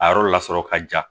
A yɔrɔ lasɔrɔ ka ja